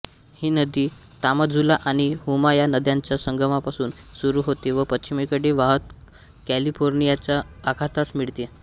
ही नदी तामाझुला आणि हुमाया नद्यांच्या संगमापासून सुरू होते व पश्चिमेकडे वाहत कॅलिफोर्नियाच्या अखातास मिळते